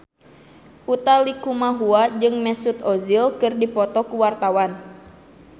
Utha Likumahua jeung Mesut Ozil keur dipoto ku wartawan